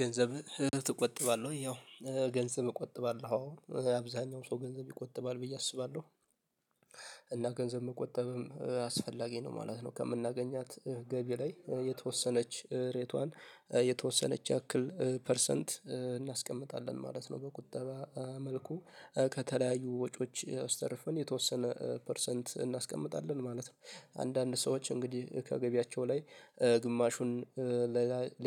ገንዘብ ትቆጥባለህ ወይ? ያው ገንዘብ እቆጥባለሁ አዎ አብዛኛው ሰው ገንዘብ ይቆጥባል ብዬ አስባለሁ። እና ገንዘብ መቆጠብም አስፈላጊ ነው ማለት ነው ከምናገኛት ገቢ ላይ የተወሰነች ሬቷን የተወሰነች ያክል ፐርሰንት እናስቀምጣለን ማለት ነው በቁጠባ መልኩ ከተለያዩ ወጪዎች አስተርፈን የተወሰነ ፐርሰንት እናስቀምጣለን ማለት ነው። አንዳንድ ሰዎች እንግዲህ ከገቢያቸው ላይ ግማሹን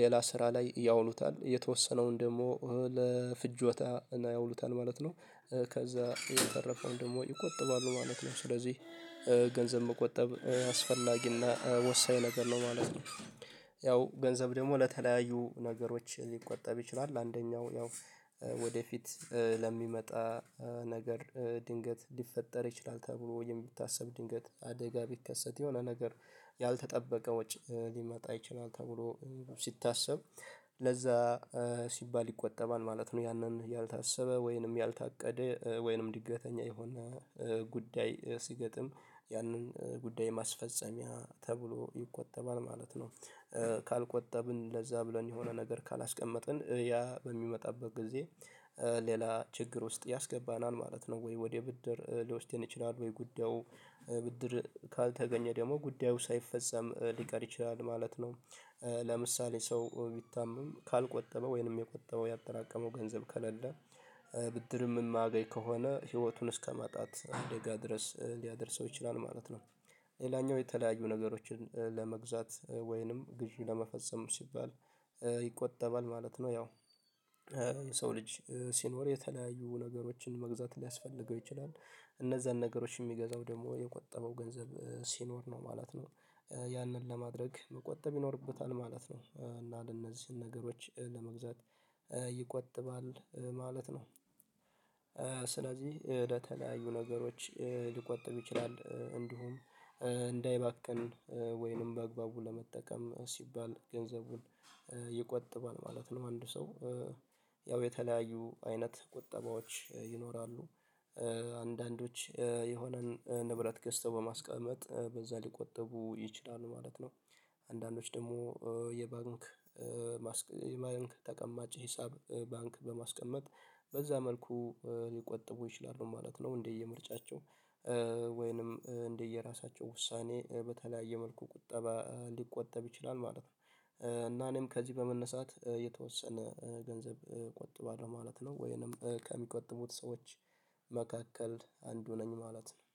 ሌላ ስራ ላይ ያውሉታል የተወሰነውን ደግሞ ለፍጆታ ያውሉታል ማለት ነው። ከዛ የተረፈውን ደግሞ ይቆጥባሉ ማለት ነው። ስለዚህ ገንዘብ መቆጠብ አስፈላጊና ወሳኝ ነገር ነው ማለት ነው። ያው ገንዘብ ደግሞ ለተለያዩ ነገሮች ሊቆጠብ ይችላል። አንደኛው ያው ወደፊት ለሚመጣ ነገር ድንገት ሊፈጠር ይችላል ተብሎ የሚታሰብ ድንገት አደጋ ቢከሰት የሆነ ነገር ያልተጠበቀ ወጪ ሊመጣ ይችላል ተብሎ ሲታሰብ ለዛ ሲባል ይቆጠባል ማለት ነው። ያንን ያልታሰበ ወይንም ያልታቀደ ወይንም ድገተኛ የሆነ ጉዳይ ሲገጥም ያንን ጉዳይ ማስፈጸሚያ ተብሎ ይቆጠባል ማለት ነው። ካልቆጠብን ለዛ ብለን የሆነ ነገር ካላስቀመጥን ያ በሚመጣበት ጊዜ ሌላ ችግር ውስጥ ያስገባናል ማለት ነው። ወይ ወደ ብድር ሊወስደን ይችላል ወይ ጉዳዩ ብድር ካልተገኘ ደግሞ ጉዳዩ ሳይፈጸም ሊቀር ይችላል ማለት ነው። ለምሳሌ ሰው ቢታመም ካልቆጠበ ወይንም የቆጠበው ያጠራቀመው ገንዘብ ከሌለ ብድርም ማያገኝ ከሆነ ህይወቱን እስከማጣት አደጋ ድረስ ሊያደርሰው ይችላል ማለት ነው። ሌላኛው የተለያዩ ነገሮችን ለመግዛት ወይንም ግዥ ለመፈጸም ሲባል ይቆጠባል ማለት ነው። ያው ሰው ልጅ ሲኖር የተለያዩ ነገሮችን መግዛት ሊያስፈልገው ይችላል እነዛን ነገሮች የሚገዛው ደግሞ የቆጠበው ገንዘብ ሲኖር ነው ማለት ነው። ያንን ለማድረግ መቆጠብ ይኖርበታል ማለት ነው እና ለእነዚህ ነገሮች ለመግዛት ይቆጥባል ማለት ነው። ስለዚህ ለተለያዩ ነገሮች ሊቆጥብ ይችላል እንዲሁም እንዳይባክን ወይንም በአግባቡ ለመጠቀም ሲባል ገንዘቡን ይቆጥባል ማለት ነው። አንድ ሰው ያው የተለያዩ አይነት ቁጠባዎች ይኖራሉ። አንዳንዶች የሆነን ንብረት ገዝተው በማስቀመጥ በዛ ሊቆጠቡ ይችላሉ ማለት ነው። አንዳንዶች ደግሞ የባንክ የባንክ ተቀማጭ ሂሳብ ባንክ በማስቀመጥ በዛ መልኩ ሊቆጥቡ ይችላሉ ማለት ነው። እንደየምርጫቸው ወይንም እንደየራሳቸው ውሳኔ በተለያየ መልኩ ቁጠባ ሊቆጠብ ይችላል ማለት ነው። እና እኔም ከዚህ በመነሳት የተወሰነ ገንዘብ እቆጥባለሁ ማለት ነው ወይንም ከሚቆጥቡት ሰዎች መካከል አንዱ ነኝ ማለት ነው